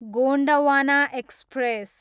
Gondwana express